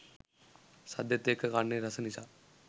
සද්දෙත් එක්ක කන්නෙ රස නිසා